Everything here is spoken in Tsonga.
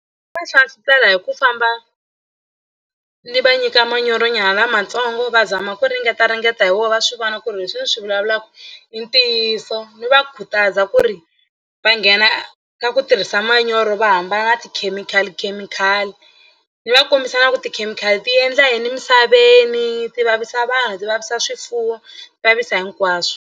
Va xavisela hi ku famba ni va nyika manyoronyana lamatsongo va zama ku ringetaringeta hi wona va swi vona ku ri leswi ni swi vulavulaka i ntiyiso ni va khutaza ku ri va nghena ka ku tirhisa manyoro va hambana na tikhemikhalikhemikhali ni va kombisana ku tikhemikhali ti endla yini emisaveni ti vavisa vanhu ti vavisa swifuwo ti vavisa hinkwaswo.